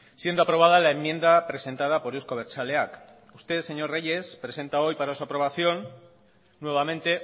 siendo aprobada la enmienda presentada por euzko abertzaleak usted señor reyes presenta hoy para su aprobación nuevamente